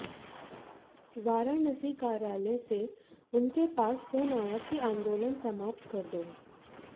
वाराणसी कार्यालय से उनके पास फ़ोन आया कि आन्दोलन समाप्त कर दो